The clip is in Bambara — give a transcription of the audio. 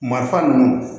Marifa ninnu